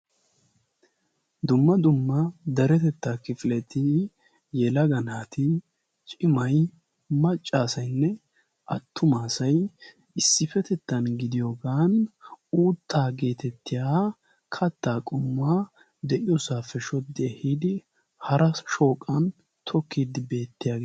Dumma dumma daretettaa kifileti yelaga naati cimay maccaasainne attumaasai issippetettan gidiyoogan uuttaa geetettiya kattaa qummaa deiyoosaappe shoddidi hiidi hara shooqan tokkiiddi beettiyaagaa.